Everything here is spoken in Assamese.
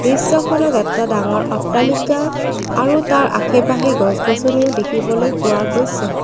দৃশ্যখনত এটা ডাঙৰ অট্টালিকা আৰু তাৰ আশে পাশে গছ গছনিও দেখিবলৈ পোৱা গৈছে।